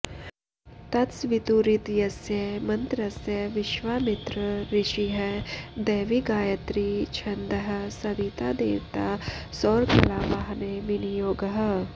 तत्सवितुरित्यस्य मन्त्रस्य विश्वामित्र ऋषिः दैवी गायत्री छन्दः सविता देवता सौरकलावाहने विनियोगः